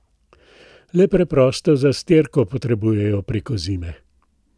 Le preprosto zastirko potrebujejo preko zime.